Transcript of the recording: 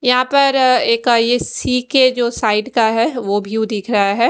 यहाँ पर एक सी_के जो साइड का है वो भी दिख रहा है।